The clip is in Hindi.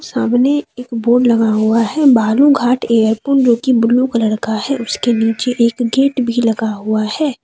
सामने एक बोर्ड लगा हुआ है बालूघाट एयरपोर्ट जो की ब्लू कलर का है उसके नीचे एक गेट भी लगा हुआ है।